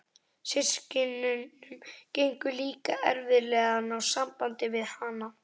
Systkinunum gengur líka erfiðlega að ná sambandi við hana.